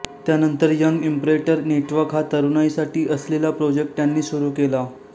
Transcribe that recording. त्यानंतर young inspirator network हा तरुणाईसाठी असलेला प्रोजेक्ट त्यांनी सुरू केला